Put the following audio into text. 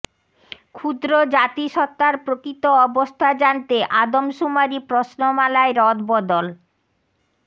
ক্ষুদ্র জাতিসত্তার প্রকৃত অবস্থা জানতে আদম শুমারি প্রশ্নমালায় রদবদল